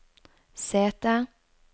sete